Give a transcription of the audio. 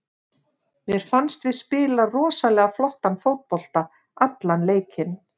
Mér fannst við spila rosalega flottan fótbolta allan leikinn.